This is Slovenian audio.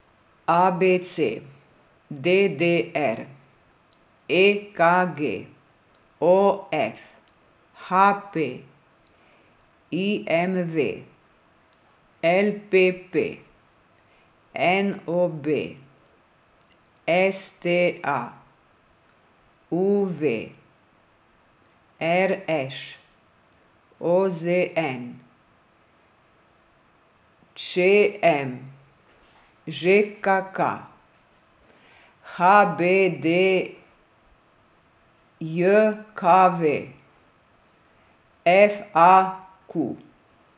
A B C; D D R; E K G; O F; H P; I M V; L P P; N O B; S T A; U V; R Š; O Z N; Č M; Ž K K; H B D J K V; F A Q.